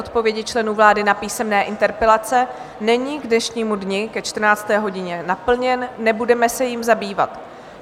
Odpovědi členů vlády na písemné interpelace není k dnešnímu dni ke 14. hodině naplněn, nebudeme se jím zabývat.